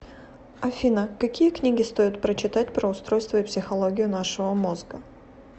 афина какие книги стоит прочитать про устройство и психологию нашего мозга